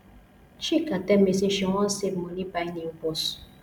chika tell me say she wan save money buy new bus